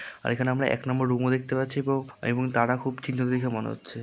আর এখানে আমরা এক নাম্বার রুমে দেখতে পাচ্ছি খুব এবং তারা খুব চিন্তিত দেখে মনে হচ্ছে।